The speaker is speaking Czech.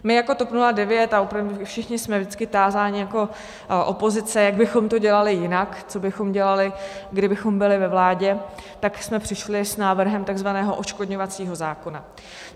My jako TOP 09 a opravdu všichni jsme vždycky tázáni jako pozice, jak bychom to dělali jinak, co bychom dělali, kdybychom byli ve vládě, tak jsme přišli s návrhem takzvaného odškodňovacího zákona.